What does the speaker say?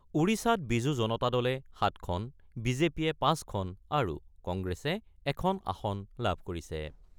ওড়িশাত বিজু জনতা দলে ৭খন, বি জে পিয়ে ৫খন আৰু কংগ্ৰেছে এখন আসন লাভ কৰিছে।